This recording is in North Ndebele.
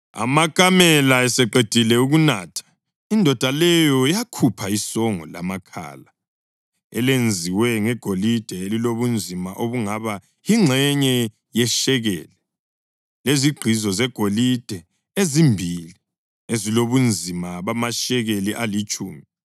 Amakamela eseqedile ukunatha, indoda leyo yakhupha isongo lamakhala elenziwe ngegolide elilobunzima obungaba yingxenye yeshekeli, lezigqizo zegolide ezimbili ezilobunzima bamashekeli alitshumi.